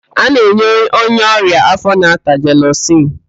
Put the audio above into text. A na-enye onye ọrịa áfó na-ata jelusịl.